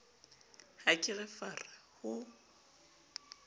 ha ke re fara ho